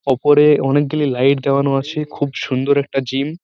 ওপরে অনকে গুলি লাইট দেওয়ানো আছে খুব সুন্দর একটা জিম ।